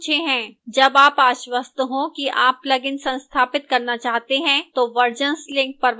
जब आप आश्वस्त हों कि आप plugin संस्थापित करना चाहते हैं तो versions link पर वापस जाएं